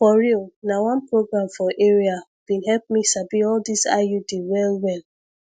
for real na one program for area bin help me sabi all this iud well well